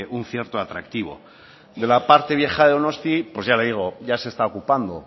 un cierto atractivo de la parte vieja de donostia pues ya le digo ya se está ocupando